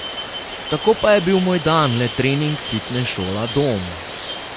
Tako pa je bil moj dan le trening, fitnes, šola, dom ...